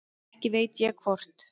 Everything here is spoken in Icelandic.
Ekki veit ég hvort